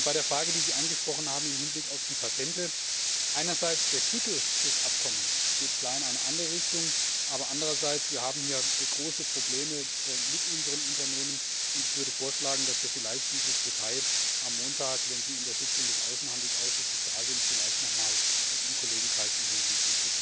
Bei der Frage, die Sie angesprochen haben, im Hinblick auf die Patente Einerseits geht der Titel des Abkommens klar in eine andere Richtung, aber andererseits haben wir hier große Probleme mit unseren Unternehmen, und ich würde vorschlagen, dass wir vielleicht dieses Detail am Montag, wenn Sie in der Sitzung des Außenhandelsausschusses da sind, noch einmal im Kollegenkreis intensiv